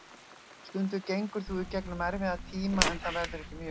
Stundum gengur þú í gegnum erfiða tíma en það verður ekki mjög lengi.